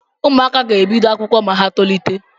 ụmụaka ga-ebido akwụkwọ ma ha tolite